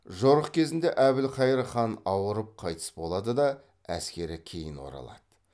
жорық кезінде әбілхайыр хан ауырып қайтыс болады да әскері кейін оралады